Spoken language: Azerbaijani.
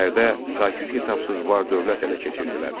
Şəhərdə saysız-hesabsız var-dövlət ələ keçirdilər.